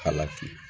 Kala fili